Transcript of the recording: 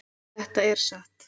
Þetta er satt!